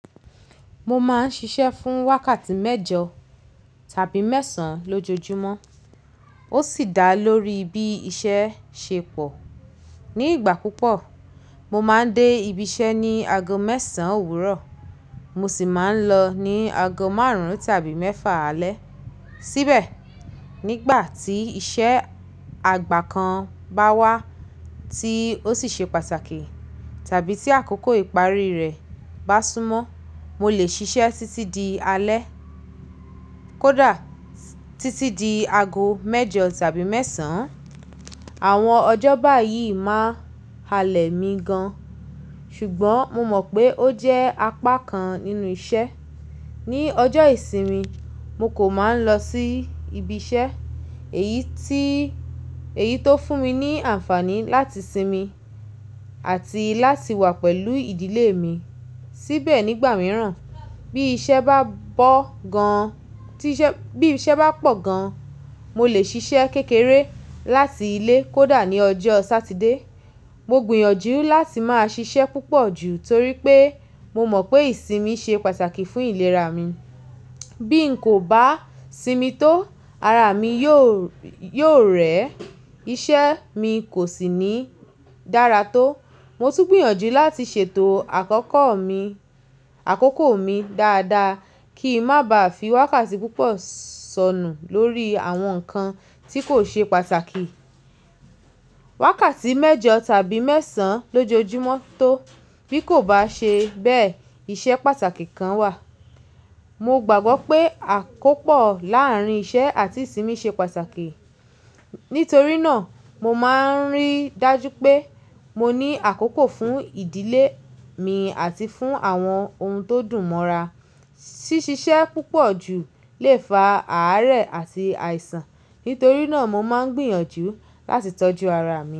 Mo máa ń ṣiṣẹ́ fún wákàtí mẹ́jọ tàbí mẹ́sàn-án lójoojúmọ́. Ó sì dá lórí bí iṣẹ́ ṣe pọ̀. Ni ìgbà púpọ̀, mo máa ń dé ibi iṣẹ́ ní ago mẹ́sàn-án òwúrọ̀, mo sì máa ń lọ ní ago márùn-ún tàbí mẹ́fà alẹ́. Síbẹ̀ nígbà tí iṣẹ́ àgbà kan bá wá tí ó sì ṣe pàtàkì tàbí tí àkókò ìparí rẹ̀ bá súnmọ́, mo lè ṣiṣẹ́ títí di alẹ́. Kódà títí di ago mẹ́jọ tàbí mẹ́sàn-án. Àwọn ọjọ́ báyìí máa halẹ̀ mi gan, ṣùgbọ́n mo mọ̀ pé ó jẹ́ apá kan nínú iṣẹ́. Ni ọjọ́ ìsinmi, mo kò máa ń lọ sí ibi iṣẹ́ eyi ti Èyí tó fún mi ní àǹfààní láti sinmi àti láti wà pẹ̀lú ìdílé mi. Síbẹ̀ nígbà mìíràn bí iṣẹ́ bá bo gan ti ise ba pọ̀ gan, mo lè ṣiṣẹ́ kékeré láti ilé kódà ní ọjọ́ Satide. Mo gbìyànjú láti máa ṣiṣẹ́ púpọ̀ jù torí pé mo mọ̀ pé ìsinmi ṣe pàtàkì fún ìlera mi. Bí n kò bá sinmi tó, ara mi yóò rẹ̀, iṣẹ́ mi kò sì ní dára tó. Mo tún gbìyànjú láti ṣètò àkókò mi dáadáa kí ń má ba à fi wákàtí púpọ̀ sọnù lórí àwọn nǹkan tí kò ṣe pàtàkì. Wákàtí mẹ́jọ tàbí mẹ́sàn-án lójoojúmọ́ tó bí kò bá ṣe bẹ́ẹ̀ iṣẹ́ pàtàkì kan wà. Mo gbàgbọ́ pé àkópọ̀ láàrín iṣẹ́ àti ìsinmi ṣe pàtàkì. Nítorí náà mo máa ń rí dájú pé mo ní àkókò fún ìdílé mi àti fún àwọn ohun tó dùn mọ́ra. Ṣíṣe iṣẹ́ púpọ̀ jù lè fa àárẹ̀ àti àìsàn. Nítorí náà mo máa ń gbìyànjú láti tọ́jú ara mi.